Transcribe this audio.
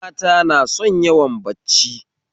Mata na son yawan bacci